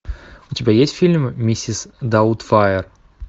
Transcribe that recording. у тебя есть фильм миссис даутфайр